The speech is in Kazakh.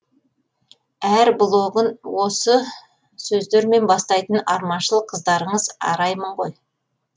әр блогын осы сөздермен бастайтын арманшыл қыздарыңыз араймын ғой